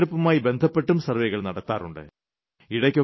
തിരഞ്ഞെടുപ്പുമായി ബന്ധപ്പെട്ടും സർവ്വേകൾ നടത്താറുണ്ട്